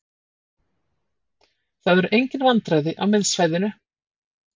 Það eru engin vandræði á miðsvæðinu.